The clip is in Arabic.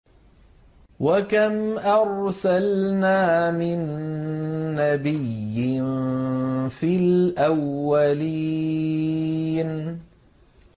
وَكَمْ أَرْسَلْنَا مِن نَّبِيٍّ فِي الْأَوَّلِينَ